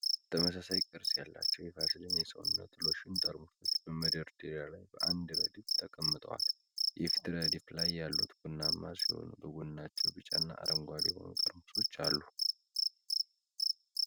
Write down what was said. ተመሳሳይ ቅርጽ ያላቸው የቫዝሊን የሰውነት ሎሽን ጠርሙሶች በመደርደሪያ ላይ በአንድ ረድፍ ተቀምጠዋል። የፊት ረድፍ ላይ ያሉት ቡናማ ሲሆኑ በጎናቸው ቢጫና አረንጓዴ የሆኑ ጠርሙሶች አሉ።